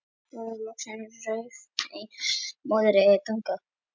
Loksins rauf ein móðirin þögnina.